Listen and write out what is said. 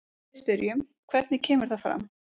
Við spyrjum, hvernig kemur það fram?